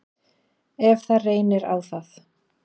Ef það reynir á það.